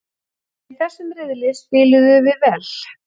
En í þessum riðli spiluðum við vel.